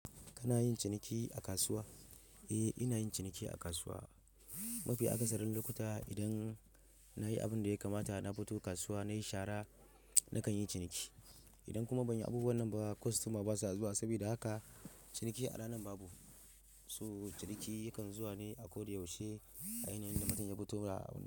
Kana yin ciniki a kasuwa? Eh, ina yin ciniki a kasuwa. Mafi akasarin lokuta idan na yi abin da ya kamata, na fito kasuwa, na yi shara nakan yi ciniki. Idan kuma ban yi abubuwan nan ba, kwastoma basa zuwa. Saboda haka ciniki a ranan babu. So! Ciniki yakan zuwa ne a koyaushe a yanayin da mutum ya fito ra.